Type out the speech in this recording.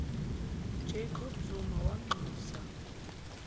jacob zuma wanxusa